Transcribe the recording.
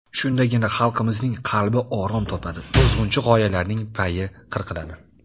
Shundagina xalqimizning qalbi orom topadi, buzg‘unchi g‘oyalarning payi qirqiladi.